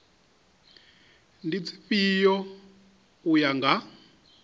ndi dzifhio u ya nga